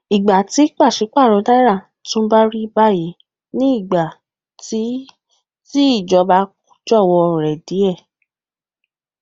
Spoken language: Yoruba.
ìgbà tí pàṣẹ paro náírà tún rí bayi ni igba ti ti ìjọba jọwọ rẹ díè